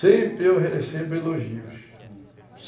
Sempre eu recebo elogios, hum